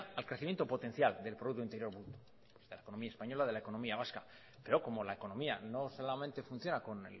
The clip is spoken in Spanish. al crecimiento potencial del producto interior bruto de la economía española y la economía vasca pero como la economía no solamente funciona con